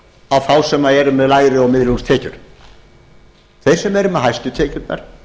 á þá sem sem eru með lægri og miðlungstekjur þeir sem eru með hæstu tekjurnar